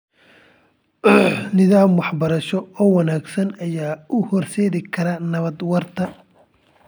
Nidaam waxbarasho oo wanaagsan ayaa u horseedi kara nabad waarta.